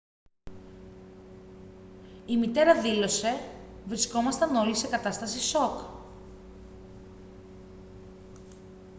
η μητέρα δήλωσε: «βρισκόμασταν όλοι σε κατάσταση σοκ»